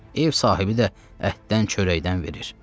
Ev sahibi də əhdən çörəkdən verir.